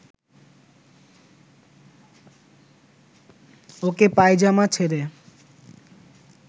ওকে পায়জামা ছেড়ে